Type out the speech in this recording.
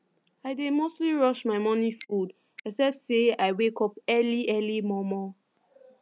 i dey mostly rush my morning food except say i wake up early early mor mor